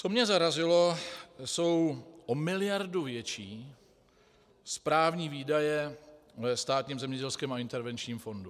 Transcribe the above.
Co mě zarazilo, jsou o miliardu větší správní výdaje ve Státním zemědělském a intervenčním fondu.